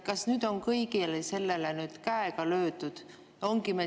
Kas nüüd on kõigele sellele käega löödud?